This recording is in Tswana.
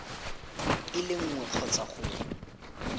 e le nngwe kgotsa go